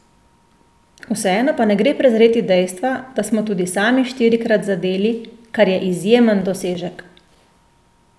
Vseeno pa ne gre prezreti dejstva, da smo tudi sami štirikrat zadeli, kar je izjemen dosežek!